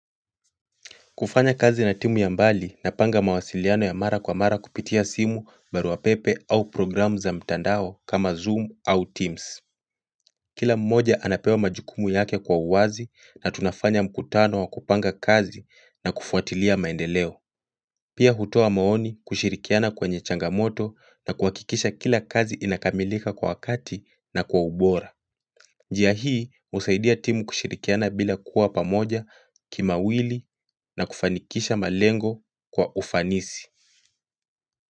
Kufanyakazi na timu ya mbali napanga mawasiliano ya mara kwa mara kupitia simu baruapepe au programu za mtandao kama Zoom au Teams. Kila mmoja anapewa majukumu yake kwa uwazi na tunafanya mkutano wa kupanga kazi na kufuatilia maendeleo. Pia hutoa maoni kushirikiana kwenye changamoto na kuhakikisha kila kazi inakamilika kwa wakati na kwa ubora. Njia hii, husaidia timu kushirikiana bila kuwa pamoja kimawili na kufanikisha malengo kwa ufanisi.